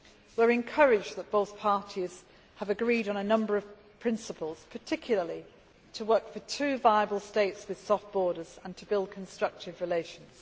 We are encouraged that both parties have agreed on a number of principles, particularly to work for two viable states with soft' borders, and to build constructive relations.